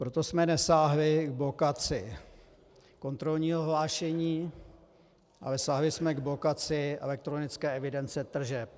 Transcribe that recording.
Proto jsme nesáhli k blokaci kontrolního hlášení, ale sáhli jsme k blokaci elektronické evidence tržeb.